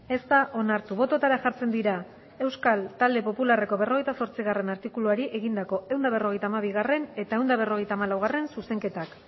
ez da onartu bototara jartzen dira euskal talde popularreko berrogeita zortzigarrena artikuluari egindako ehun eta berrogeita hamabigarrena eta ehun eta berrogeita hamalaugarrena zuzenketak